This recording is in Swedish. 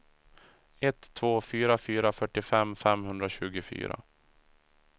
ett två fyra fyra fyrtiofem femhundratjugofyra